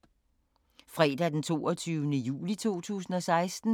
Fredag d. 22. juli 2016